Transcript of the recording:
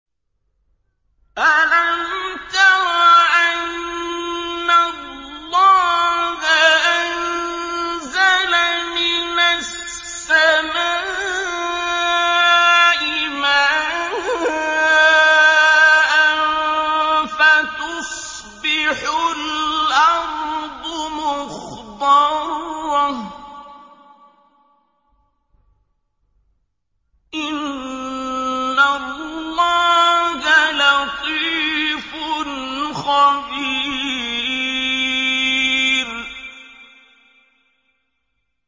أَلَمْ تَرَ أَنَّ اللَّهَ أَنزَلَ مِنَ السَّمَاءِ مَاءً فَتُصْبِحُ الْأَرْضُ مُخْضَرَّةً ۗ إِنَّ اللَّهَ لَطِيفٌ خَبِيرٌ